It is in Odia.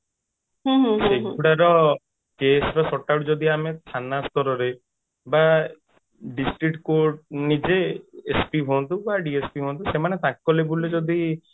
ସେଇଗୁଡାର case ର short out ଯଦି ଆମେ ଥାନା ସ୍ତରରେ ବା district court ନିଜେ SP ହୁଅନ୍ତୁ କି DSP ସେମାନେ ତାଙ୍କ level ରେ ଯଦି